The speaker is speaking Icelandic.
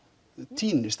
týnist